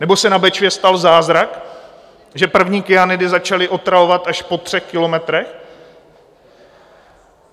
Nebo se na Bečvě stal zázrak, že první kyanidy začaly otravovat až po třech kilometrech?